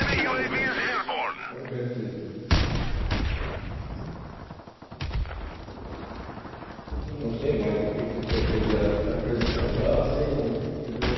A gente... Não não sei mais o que é que eu poderia acrescentar, assim, quer dizer...